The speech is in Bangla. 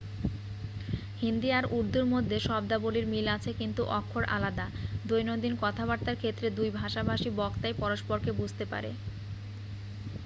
হিন্দি আর উর্দুর মধ্যে শব্দাবলীর মিল আছে কিন্তু অক্ষর আলাদা দৈনন্দিন কথাবার্তার ক্ষেত্রে দুই ভাষাভাষী বক্তাই পরস্পরকে বুঝতে পারে